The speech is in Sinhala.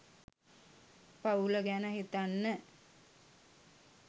පවුල ගැන හිතන්න